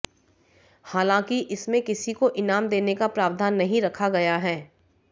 हालांकि इसमें किसी को इनाम देने का प्रावधान नहीं रखा गया है